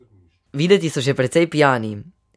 Videti so že precej pijani.